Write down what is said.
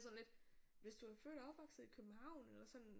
Det sådan lidt hvis du er født og opvokset i København eller sådan